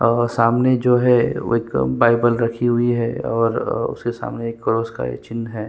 और अ सामने जो है वो एक बाइबिल रखी हुई है और अ उसके सामने एक क्रॉस का एक चिन्ह हैं।